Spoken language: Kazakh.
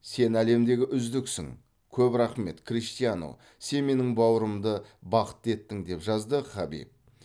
сен әлемдегі үздіксің көп рахмет криштиану сен менің бауырымды бақытты еттің деп жазды хабиб